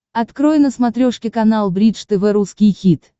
открой на смотрешке канал бридж тв русский хит